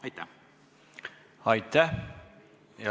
Aitäh!